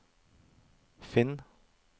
finn